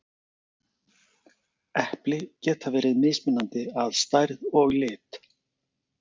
Epli geta verið mismunandi að stærð og lit.